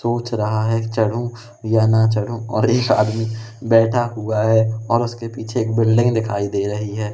सोच रहा है चढ़ूं या ना चंढू और एक आदमी बैठा हुआ है और उसके पीछे एक बिल्डिंग दिखाई दे रही है।